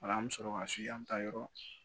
Ola an mi sɔrɔ ka se an mi taa yɔrɔ